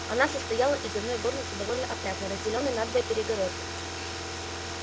она состояла из одной горницы довольно опрятной разделённой надвое перегородкой